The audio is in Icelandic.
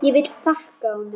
Ég vil þakka honum.